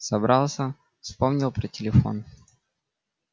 собрался вспомнил про телефон